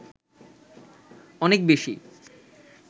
অনেক বেশি